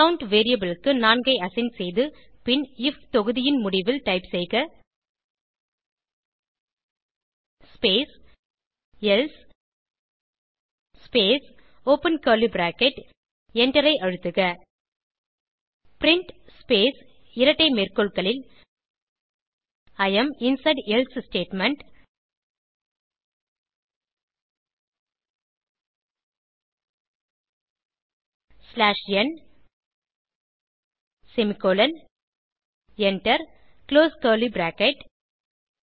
count variable க்கு 4 ஐ assign செய்து பின் ஐஎஃப் தொகுதியின் முடிவில் டைப் செய்க space else space open curly bracket எண்டரை அழுத்துக பிரின்ட் ஸ்பேஸ் இரட்டை மேற்கோள்களில் I am inside else statement slash n semicolon enter close curly bracket